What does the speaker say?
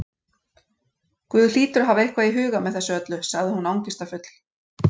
Guð hlýtur að hafa eitthvað í huga með þessu öllu- sagði hún angistarfull.